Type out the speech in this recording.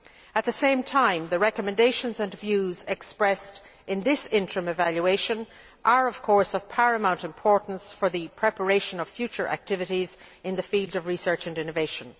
At the same time, the recommendations and views expressed in this interim evaluation are, of course, of paramount importance for the preparation of future activities in the field of research and innovation.